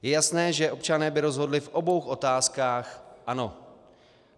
Je jasné, že občané by rozhodli v obou otázkách ano.